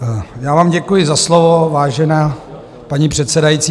Já vám děkuji za slovo, vážená paní předsedající.